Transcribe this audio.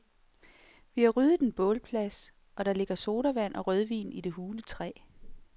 Vi har ryddet en bålplads, og der ligger sodavand og rødvin i det hule træ.